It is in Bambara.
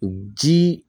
U ji